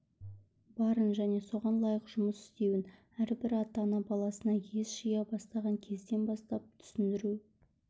барын және соған лайық жұмыс істеуін әрбір ата-ана баласына ес жия бастаған кезден бастап түсіндіру